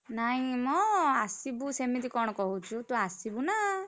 ନାଇଁ ମ ଆସିବୁ ସେମିତି କଣ କହୁଛୁ ତୁ ଆସିବୁ ନା!